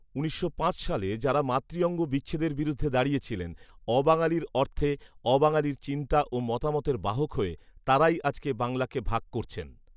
উনিশশো পাঁচ সালে যারা মাতৃঅঙ্গ বিচ্ছেদের বিরুদ্ধে দাঁড়িয়েছিলেন, অবাঙালির অর্থে, অবাঙালির চিন্তা ও মতামতের বাহক হয়ে, তারাই আজকে বাংলাকে ভাগ করছেন